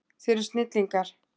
Þið eruð snillingar.